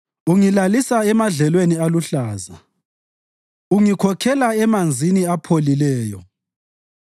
Ungilalisa emadlelweni aluhlaza, ungikhokhelela emanzini apholileyo,